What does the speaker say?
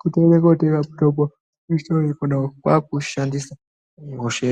Kutoende kootenge mutombo muchitoro imwona umwu kwakuushandisa hosha.....